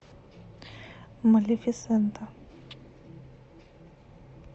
малефисента